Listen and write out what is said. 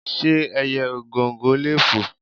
Ṣé ẹyẹ Ògòǹgò lè fò?